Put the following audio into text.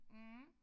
Mh